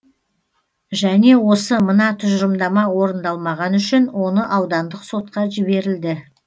және осы мына тұжырымдама орындалмағаны үшін оны аудандық сотқа жіберілді